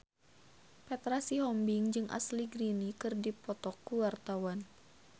Petra Sihombing jeung Ashley Greene keur dipoto ku wartawan